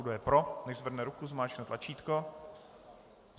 Kdo je pro, nechť zvedne ruku, zmáčkne tlačítko.